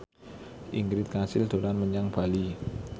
Ingrid Kansil dolan menyang Bali